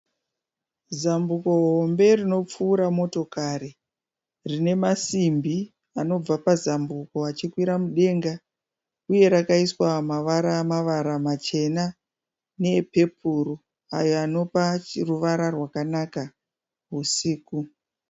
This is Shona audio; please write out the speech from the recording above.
Zambuko hombe rinopfuura motokari. Rinemasimbi anobva pazambuko achikwira mudenga uye rakaiswa mavara-mavara machena neepepuru ayo anopa ruvara rwakanaka usiku.